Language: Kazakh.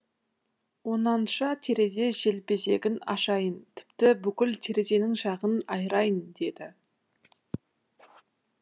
онанша терезе желбезегін ашайын тіпті бүкіл терезенің жағын айырайын деді